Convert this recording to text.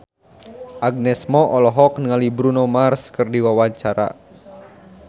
Agnes Mo olohok ningali Bruno Mars keur diwawancara